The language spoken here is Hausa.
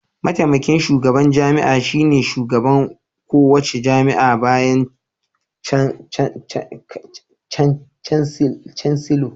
Mataimakin shugaban jami'a shine shugaban kowace jami'a bayan Chancellor.